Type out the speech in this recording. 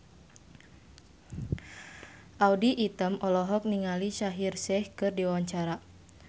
Audy Item olohok ningali Shaheer Sheikh keur diwawancara